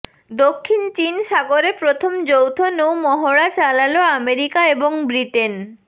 দক্ষিণ চীন সাগরে প্রথম যৌথ নৌ মহড়া চালাল আমেরিকা এবং ব্রিটেন